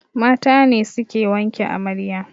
Mata ne suke wanke amarya